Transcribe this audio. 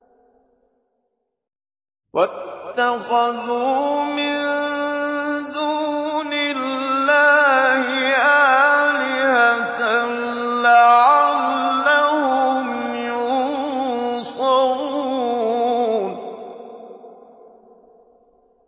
وَاتَّخَذُوا مِن دُونِ اللَّهِ آلِهَةً لَّعَلَّهُمْ يُنصَرُونَ